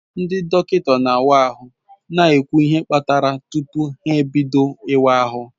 Ndi dokinta na awa ahu na ekwu ihe kparaya tupu ha bido iwa ahu